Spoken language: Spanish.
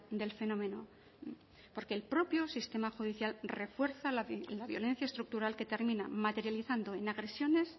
del fenómeno porque el propio sistema judicial refuerza la violencia estructural que termina materializando en agresiones